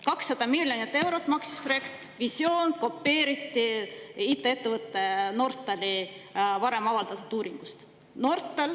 200 miljonit eurot maksis projekt, visioon kopeeriti IT-ettevõtte Nortal varem avaldatud uuringust.